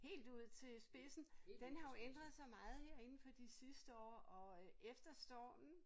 Helt ud til spidsen? Den har jo ændret sig meget her inden for de sidste år og efter stormen